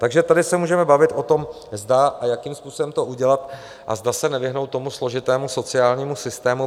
Takže tady se můžeme bavit o tom, zda a jakým způsobem to udělat a zda se nevyhnout tomu složitému sociálnímu systému.